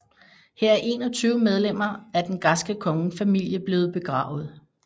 Her er 21 medlemmer af den græske kongefamilie blevet begravet